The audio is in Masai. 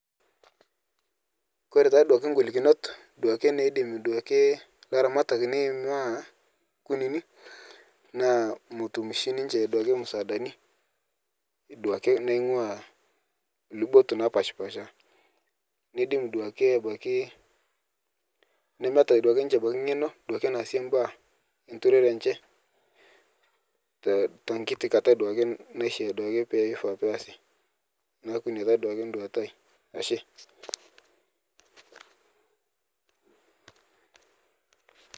Kore taaduake golikinot duake naidim duake laramatak neimaa kunini naa motum shii ninche duake msaadani duake naing'ua lubot napashpasha neidim duake abaki nemeita duake ninche abaki ng'eno duake naase mbaa enturore enche te tekiti kata duake naisha duake peifaa peasi, neaku inia taa duake duata aai ashe.